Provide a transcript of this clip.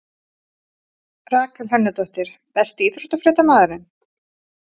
Rakel Hönnudóttir Besti íþróttafréttamaðurinn?